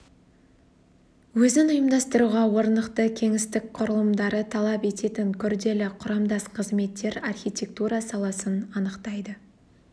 өзін ұйымдастыруға орнықты кеңістік құрылымдарды талап ететін күрделі құрамдас қызметтер архитектура саласын анықтайды